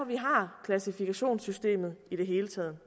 vi har klassifikationssystemet i det hele taget